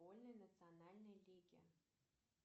футбольной национальной лиги